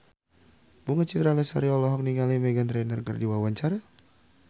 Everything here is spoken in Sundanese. Bunga Citra Lestari olohok ningali Meghan Trainor keur diwawancara